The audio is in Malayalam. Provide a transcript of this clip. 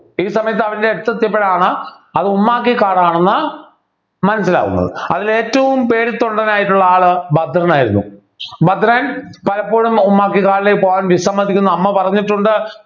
ഈ സമയത്ത് അവൻ്റെ അടുത്തെത്തിയപ്പോഴാണ് അത് ഉമ്മാക്കിക്കാട് ആണെന്ന് മനസ്സിലാകുന്നത് അതിൽ ഏറ്റവും പേടിത്തൊണ്ടൻ ആയിട്ടുള്ള ആള് ഭദ്രനായിരുന്നു ഭദ്രൻ പലപ്പോഴും ഉമ്മാക്കി കാട്ടിലേക്ക് പോകാൻ വിസമ്മതിക്കുന്ന അമ്മ പറഞ്ഞിട്ടുണ്ട്